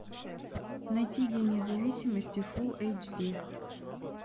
найти день независимости фул эйч ди